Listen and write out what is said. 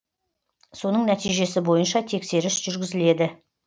соның нәтижесі бойынша тексеріс жүргізіледі